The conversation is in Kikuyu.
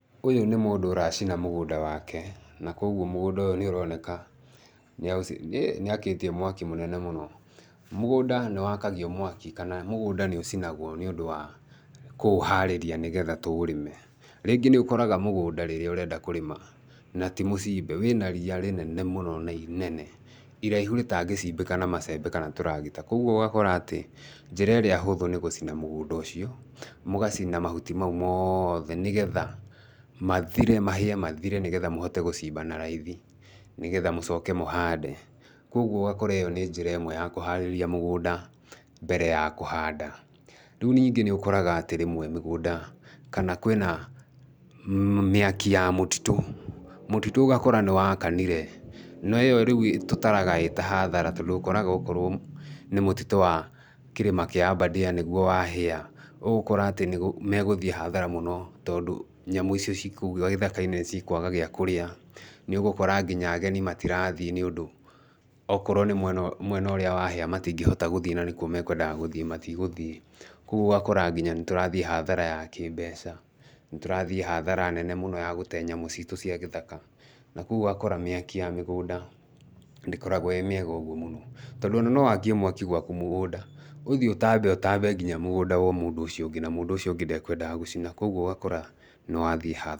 Ũyũ nĩ mũndũ ũracina mũgũnda wake, na koguo mũgũnda ũyũ nĩ ũroneka, nĩakĩtie mwaki mũnene mũno, mũgũnda nĩ wakagio mwaki, kana mũgũnda nĩũcinagwo nĩ ũndũ wa kũũharĩria nĩgetha tũũrĩme, rĩngĩ nĩ ũkoraga mũgũnda rĩrĩa ũrenda kũrĩma na ti mũcimbe, wĩna ria rĩnene mũno na inene iraihu rĩtangĩcimbĩka na macembe kana tũragita, koguo ũgakora atĩ njĩra ĩrĩa hũthũ nĩ gũcina mũgũnda ũcio, mũgacina mahuti macio mothe, nĩgetha mathire mahĩe mathire nĩgetha mũhote gũcimba na raithi, nĩgetha mũcoke mũhande, koguo ũgakora ĩyo nĩ njĩra ĩmwe ya kũharĩria mũgũnda mbere ya kũhanda, rĩu ningĩ nĩ ũkoraga atĩ rĩmwe mĩgũnda, kana kwĩna mĩaki ya mũtitũ, mũtitũ ũgakora nĩwakanire, no ĩyo rĩu tũtaraga ĩta hathara, tondũ ũkoraga okorwo nĩ mũtitũ wa kĩrĩma kĩa Aberdare nĩguo wahĩa, ũgũkora atĩ nĩ megũthiĩ hathara mũno tondũ nyamũ icio ciĩkũu gĩthaka-inĩ nĩ cikwaga gĩakũrĩa, nĩ ũgũkora nginya ageni matirathiĩ nĩũndũ okorwo nĩ mwena mwena ũrĩa wahĩa matingĩhota gũthiĩ na nĩkuo makwendaga gũthiĩ matigũthiĩ, koguo ũgakora nginya nĩ tũrathiĩ hathara ya kĩmbeca, nĩ tũrathiĩ hatahara nene mũno ya gũtee nyamũ citũ cia gĩthaka, na koguo ũgakora mĩaki ya mĩgũnda ndĩkoragwo ĩ mĩega ũguo mũno, tondũ ona no wakie mwaki gwaku mũgũnda, ũthiĩ ũtambe ũtambe nginya mũgũnda wa mũndũ ũcio ũngĩ na mũndũ ũcio ũngĩ ndakwendaga gũcina, koguo ũgakora, nĩ wathiĩ hathara.